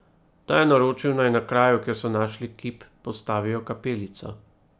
Ta je naročil, naj na kraju, kjer so našli kip, postavijo kapelico.